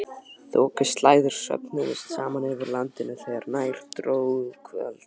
Þokuslæður söfnuðust saman yfir landinu þegar nær dró kvöldi.